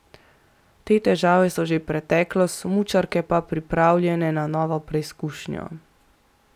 Te težave so že preteklost, smučarke pa pripravljene na novo preizkušnjo.